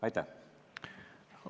Aitäh!